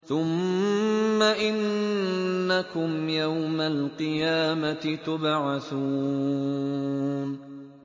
ثُمَّ إِنَّكُمْ يَوْمَ الْقِيَامَةِ تُبْعَثُونَ